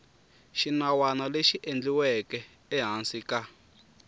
xinawana lexi endliweke ehansi ka